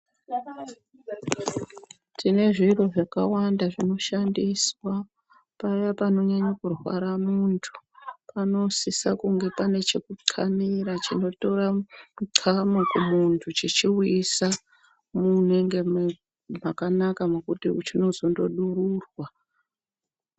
Tine zviro zvakawanda zvinoshandiswa paya panonyanye kurwara munthu panosise kunge pane chekuxanira chinotora muxamo kumunthu chichiuyisa munonge mu makanaka mekuti chindozongodururwa.